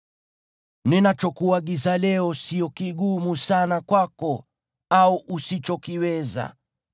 Ninachokuagiza leo sio kigumu sana kwako au usichokiweza.